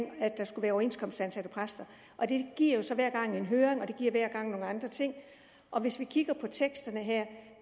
der skulle være overenskomstansatte præster det giver jo så hver gang en høring og det giver hver gang nogle andre ting og hvis vi kigger på teksterne her